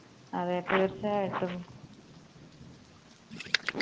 അതെ തീർച്ചയായിട്ടും